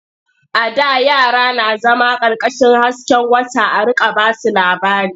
A da yara na zama ƙarƙashin hasken wata a riƙa ba su labari.